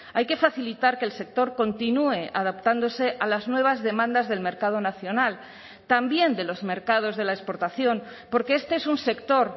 hay que facilitar que el sector continúe adaptándose a las nuevas demandas del mercado nacional también de los mercados de la exportación porque este es un sector